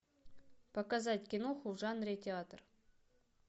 показать киноху в жанре театр